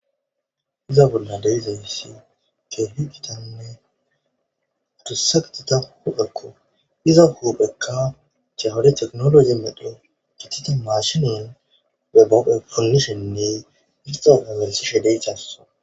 Iza bolla de7zayssi ke higitanne udusagtita huphekko iza huphekka chawade teknologi medho gitite maashinin gabao ponishenne irxafa melisideyassa.